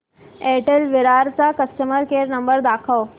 Airtel Virar चा customer care number दाखव